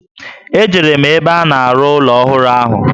E jere m ebe a na-aru ụlọ ọhụrụ ahụ